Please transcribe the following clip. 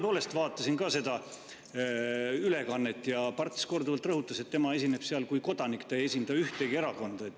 Mina vaatasin ka seda ülekannet, kus Parts korduvalt rõhutas, et tema esineb seal kui kodanik, ta ei esinda ühtegi erakonda.